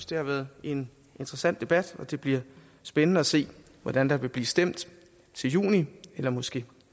det har været en interessant debat og det bliver spændende at se hvordan der vil blive stemt til juni eller måske